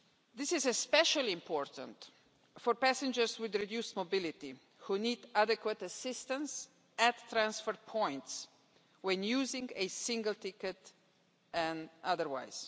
This is especially important for passengers with reduced mobility, who need adequate assistance at transfer points when using a single ticket and otherwise.